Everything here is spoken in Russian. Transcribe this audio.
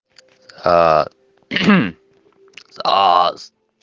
ааа кхм аас